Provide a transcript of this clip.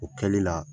O kɛli la